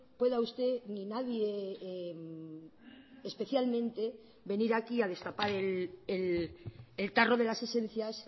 pueda usted ni nadie especialmente venir aquí a destapar el tarro de las esencias